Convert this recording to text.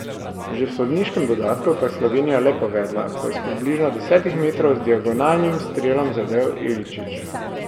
Že v sodniškem dodatku pa je Slovenija le povedla, ko je s približno desetih metrov z diagonalnim strelom zadel Iličić.